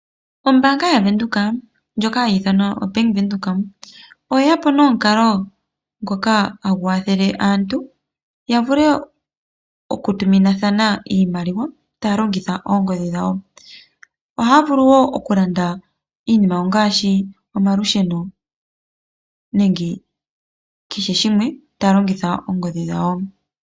Ombaanga yaVenduka ndjoka hayi ithanwa Bank Windhoek oye ya po nomukalo ngoka hagu kwathele aantu ya vule okutuminathana iimaliwa taya longitha ongodhi. Ohaya vulu wo okulanda iinima ngaashi omalusheno nenge kehe shimwe taya longitha oongodhi dhawo.